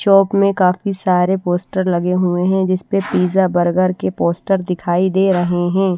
Shop में काफी सारे पोस्टर लगे हुए हैं जिस पर पिज़्ज़ा बर्गर के पोस्टर दिखाई दे रहे हैं।